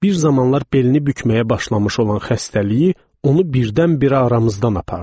Bir zamanlar belini bükməyə başlamış olan xəstəliyi onu birdən-birə aramızdan apardı.